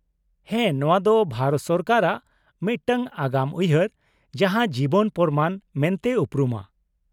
-ᱦᱮᱸ, ᱱᱚᱶᱟ ᱫᱚ ᱵᱷᱟᱨᱚᱛ ᱥᱚᱨᱠᱟᱨᱟᱜ ᱢᱤᱫᱴᱟᱝ ᱟᱜᱟᱢ ᱩᱭᱦᱟᱹᱨ ᱡᱟᱦᱟᱸ ᱡᱤᱵᱚᱱ ᱯᱨᱚᱢᱟᱱ ᱢᱮᱱᱛᱮ ᱩᱯᱨᱩᱢᱟ ᱾